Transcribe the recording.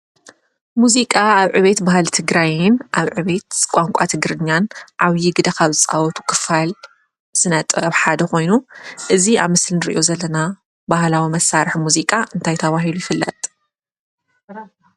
ሙዚቃ ኣብ ዕቤት ባህሊ ትግራይን ኣብ ዕቤት ቋንቋ ትግርኛ ዓብይ ግደ ካብ ዝፃወቱ ክፋል ስነ ጥበብ ሓደ ኾይኑ እዚ ኣብ ምስሊ ንሪኦ ዘለና ባህላዊ መሳርሒ ሙዚቃ አንታይ ተባሂሉ ይፍለጥ?